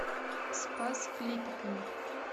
спас клепиками